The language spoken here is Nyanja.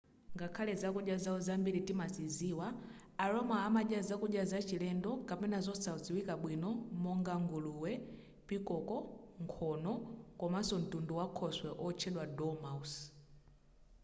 ngakhale zakudya zawo zambiri timaziziwa a roma amadya zakudya zachilendo kapena zosadziwika bwino monga nguluwe pikoko nkhono komanso mtundu wakhoswe otchedwa dormouse